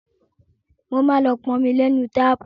Mo máa lọ pọn omi lénu táàpù.